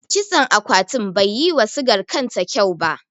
Kitson akwatin bai yi wa sigar kanta kyau ba.